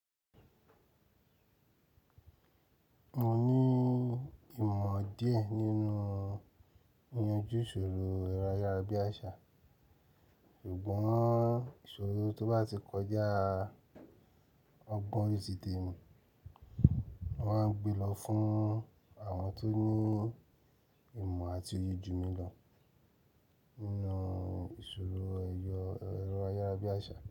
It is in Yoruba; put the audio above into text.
Mo ní ìmọ̀ díẹ̀ nínú ìyanjú ìṣòro ẹrọ Ayarabíàsá. Ṣùgbọ́n ìṣòro tó bá ti kọjá ọgbọ̀n ti ti temi, mo máa n gbe lọ fún àwọn tó ní ìmọ̀ àti oyè jù mí lọ nínú ìṣòro ẹrọ Ayarabíàsá.